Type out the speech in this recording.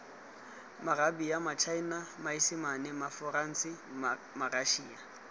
maarabia matšhaena maesimane maforanse marašia